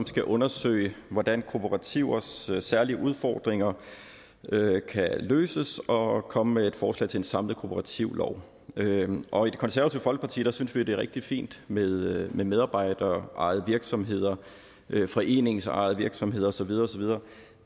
skal undersøge hvordan kooperativers særlige udfordringer kan løses og komme med et forslag til en samlet kooperativlov i det konservative folkeparti synes vi det er rigtig fint med med medarbejderejede virksomheder foreningsejede virksomheder og så videre og så videre